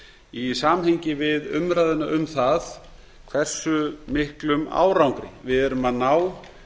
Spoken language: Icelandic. í samhengi við umræðuna um það hversu miklum árangri við erum að ná